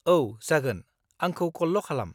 औ, जागोन, आंखौ कलल' खालाम।